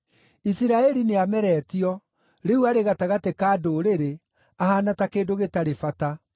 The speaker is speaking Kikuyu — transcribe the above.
Isiraeli nĩameretio; rĩu arĩ gatagatĩ ka ndũrĩrĩ ahaana ta kĩndũ gĩtarĩ bata.